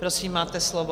Prosím, máte slovo.